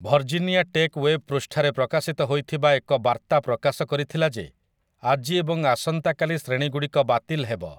Virginia Tech web ପୃଷ୍ଠାରେ ପ୍ରକାଶିତ ହୋଇଥିବା ଏକ ବାର୍ତ୍ତା ପ୍ରକାଶ କରିଥିଲା ଯେ ଆଜି ଏବଂ ଆସନ୍ତାକାଲି ଶ୍ରେଣୀ ଗୁଡ଼ିକ ବାତିଲ୍ ହେବ ।